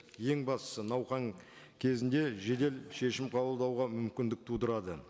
ең бастысы науқан кезінде жедел шешім қабылдауға мүмкіндік тудырады